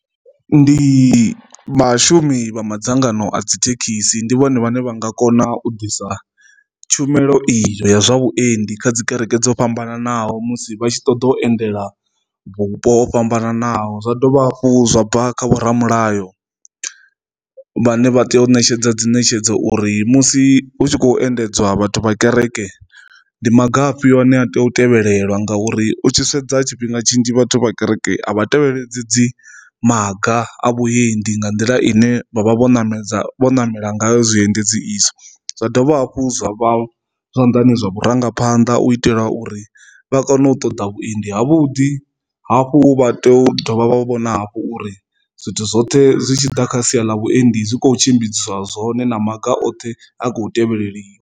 Ndi vhashumi vha madzangano a dzi thekhisi ndi vhone vhane vha nga kona u ḓisa tshumelo iyo ya zwa vhuendi kha dzi kereke dzo fhambananaho musi vha tshi ṱoḓa u endela vhupo ho fhambananaho zwa dovha hafhu, zwa bva kha vhoramilayo vhane vha tea u ṋetshedza dzi ṋetshedzo uri musi hu tshi khou endedzwa vhathu vha kereke ndi mafa afhio ane a tea u tevhelela nga uri u tshi sedza tshifhinga tshinzhi vhathu vha kereke a vha tevhele hedzi dzi maga a vhuendi nga nḓila ine vha vha vho ṋamedza vho namela ngayo zwiendedzi izwo. Zwa dovha hafhu zwa zwanḓani zwa vhurangaphanḓa u itela uri vha kone u u ṱoḓa vhuendi havhuḓi hafhu vha tea u dovha vha vho vhona hafhu uri zwithu zwoṱhe zwi tshi ḓa kha sia ḽa vhuendi zwi kho tshimbidzisa zwone na maga oṱhe a kho tevheliwa.